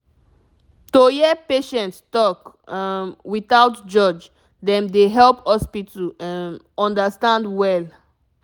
to hear patient talk um without judge dem dey help hospital um understand well